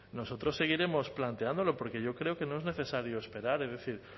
nosotros seguiremos planteándolo porque yo creo que no es necesario esperar es decir